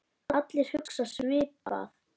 Allir hugsa svipað.